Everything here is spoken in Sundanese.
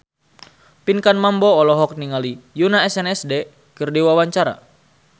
Pinkan Mambo olohok ningali Yoona SNSD keur diwawancara